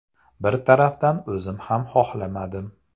Bir tarafdan o‘zim ham xohlamadim.